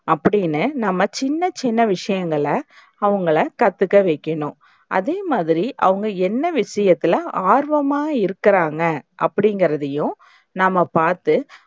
அப்டின்னு நம்ம சின்ன சின்ன விஷயங்கள அவங்கள கத்துக்க வைக்கணும். அதேமாதிரி, அவங்க என்ன விஷயத்துல ஆர்வமா இருக்குறாங்க அப்டிங்கறதையும் நம்ம பாத்து